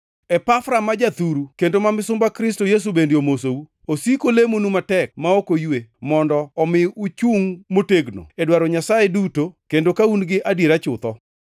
Epafra ma jathuru kendo ma misumba Kristo Yesu bende omosou. Osiko olemonu matek ma ok oywe, mondo omi uchungʼ motegno, e dwaro Nyasaye duto kendo ka un gi adiera chutho.